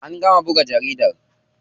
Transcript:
An gama buga jaridar.